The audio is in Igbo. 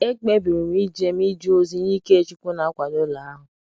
Ekpebiri m ije m ije ozi nye ike chukwu n'akwado ụlọ ahụ